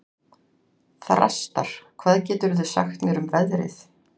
Þrastar, hvað geturðu sagt mér um veðrið?